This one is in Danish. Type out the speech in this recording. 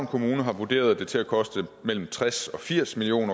kommune har vurderet det til at koste mellem tres og firs million